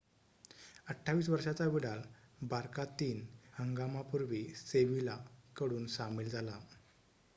28 वर्षाचा Vidal Barca तीन 3 हंगामापूर्वी सेविला कडून सामील झाला